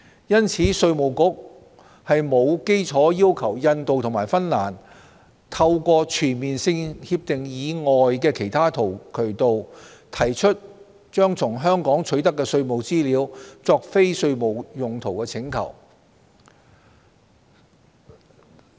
因此，稅務局沒有理據要求印度和芬蘭透過全面性協定以外的其他渠道，提出把從香港取得的稅務資料作非稅務用途的請求。